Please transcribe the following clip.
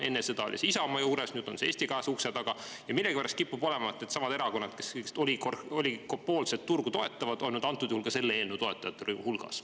Enne seda oli see Isamaa juures, nüüd on see Eesti 200 ukse taga ja millegipärast kipub olema needsamad erakonnad, kes sellist oli oligopoolset turgu toetavad, olnud antud juhul ka selle eelnõu toetajate hulgas.